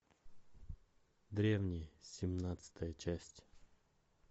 древние семнадцатая часть